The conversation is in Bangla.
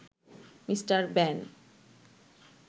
mister ban